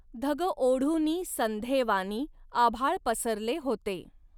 धग ओढुनी संधेवानी आभाळ पसरले होते